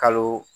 Kalo